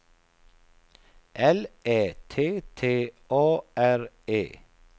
L Ä T T A R E